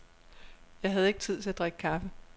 Jeg havde ikke tid til at drikke kaffe.